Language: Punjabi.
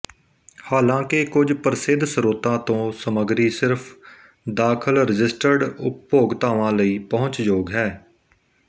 ਹਾਲਾਂਕਿ ਕੁਝ ਪ੍ਰਸਿੱਧ ਸਰੋਤਾਂ ਤੋਂ ਸਮੱਗਰੀ ਸਿਰਫ ਦਾਖ਼ਲਰਜਿਸਟਰਡ ਉਪਭੋਗਤਾਵਾਂ ਲਈ ਪਹੁੰਚਯੋਗ ਹੈ